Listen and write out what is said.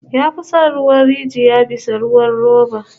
Ya fi son ruwan rijiya bisa ruwan roba